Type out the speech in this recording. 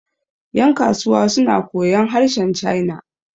yankasuwa suna koyon harshen china